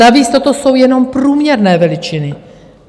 Navíc toto jsou jenom průměrné veličiny.